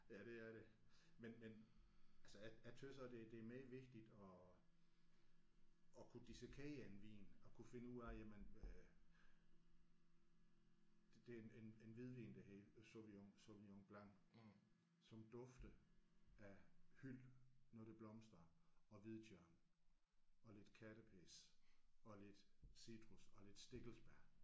Ja det er det. Men men altså jeg jeg synes også det det er meget vigtigt at at kunne dissekere en vin at kunne finde ud af jamen øh det det er en en hvidvin der hedder Sauvignon Sauvignon Blanc som dufter af hyld når det blomstrer og hvidtjørn og lidt kattepis og lidt citrus og lidt stikkelsbær